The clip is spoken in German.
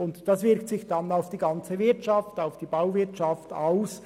Das wirkt sich dann auch auf die Bauwirtschaft und auf die ganze Wirtschaft aus.